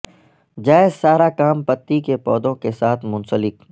جائز سارا کام پتی کے پودوں کے ساتھ منسلک